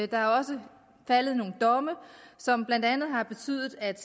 der er også faldet nogle domme som blandt andet har betydet at